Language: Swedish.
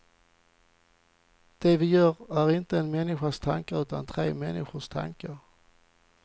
Det vi gör är inte en människas tankar utan tre människors tankar.